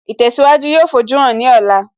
Ìtẹ̀síwájú yóò fojúhàn ní ọ̀la